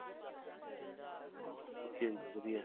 ਹਾਂ okay ਏ ਜੀ ਵਧੀਆ